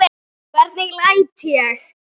Hvernig læt ég!